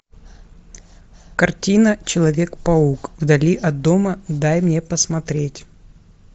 картина человек паук вдали от дома дай мне посмотреть